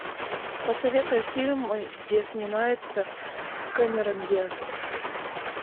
посоветуй фильмы где снимается камерон диаз